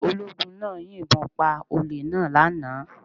Ológun náà yìn bon pa olè náà lánàá